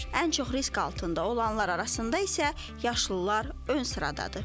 Ən çox risk altında olanlar arasında isə yaşlılar ön sıradadır.